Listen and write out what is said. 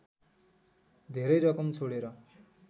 धेरै रकम छोडेर